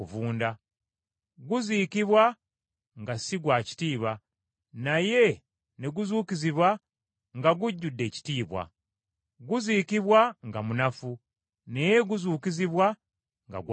Guziikibwa nga si gwa kitiibwa, naye ne guzuukizibwa nga gujjudde ekitiibwa. Guziikibwa nga munafu, naye guzuukizibwa nga gwa maanyi.